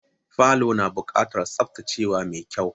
Falo na buƙatar tsaftacewa mai kyau.